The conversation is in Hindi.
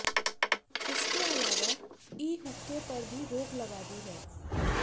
इसके अलावा ई हुक्के पर भी रोक लगा दी है